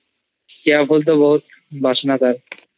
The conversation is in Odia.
କିଆଫୁଲ ର ବହୁତ୍ ବାସନା ଥାଏ